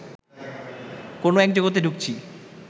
কোনও এক জগতে ঢুকছি